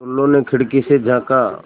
टुल्लु ने खिड़की से झाँका